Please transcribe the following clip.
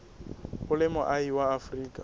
o le moahi wa afrika